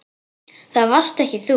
Það varst ekki þú.